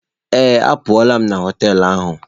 Ee, apụla m na họtel ahụ.